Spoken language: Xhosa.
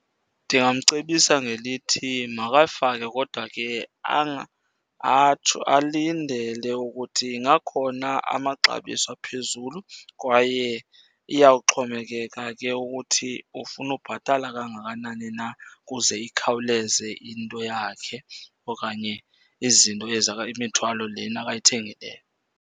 Ndingamcebisa ngelithi makayifake kodwa ke atsho, alindele ukuthi ingakhona amaxabiso aphezulu kwaye iyawuxhomekeka ke ukuthi ufuna ubhatala kangakanani na ukuze ikhawuleze into yakhe okanye izinto ezi imithwalo lena ayithengileyo.